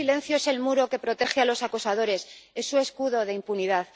Y ese silencio es el muro que protege a los acosadores, es su escudo de impunidad.